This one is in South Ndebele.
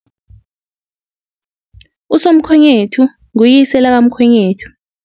Usomkhwenyethu nguyise lakamkhwenyethu.